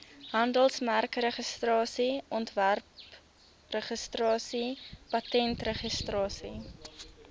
handelsmerkregistrasie ontwerpregistrasie patentregistrasie